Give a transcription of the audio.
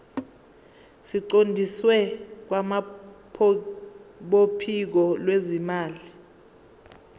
siqondiswe kwabophiko lwezimali